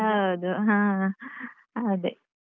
ಹೌದು ಹಾ ಅದೇ.